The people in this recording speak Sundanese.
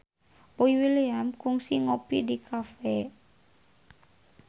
Boy William kungsi ngopi di cafe